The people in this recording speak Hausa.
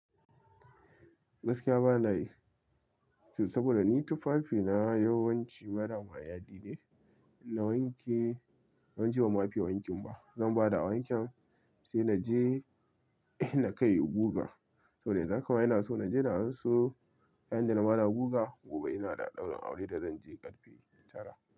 Gaskiya bana yi saboda ni tufafina yawanci marar ma yadi ne. Na wanke, banji ban ma fiye wankin ba zan ba da awanken sai na je na kai guga. Saboda yanzu haka ma ina so na je da anso, kayan da na ba da guga. Gobe ina da ɗaurin aure da zan je karfe tara.